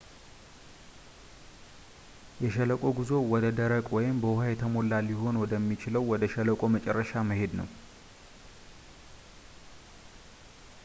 የሸለቆ ጉዞ ወደ ደረቅ ወይም በውሃ የተሞላ ሊሆን ወደ የሚችለው ወደ ሸለቆው መጨረሻ መሄድ ነው